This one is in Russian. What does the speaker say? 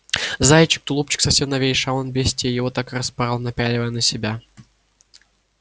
заячий тулупчик совсем новейший а он бестия его так и распорол напяливая на себя